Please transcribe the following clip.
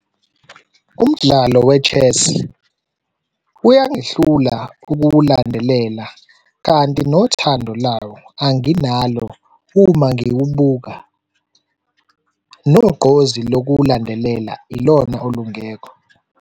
Umdlalo we-chess uyangihlula ukuwulandelela kanti nothando lawo anginalo uma ngiwubuka, nogqozi lokuwulandelela ilona olungekho.